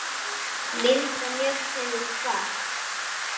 Linda Mjöll hefur kvatt.